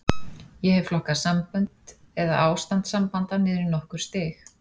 Ég hef flokkað sambönd, eða ástand sambanda, niður í nokkur stig.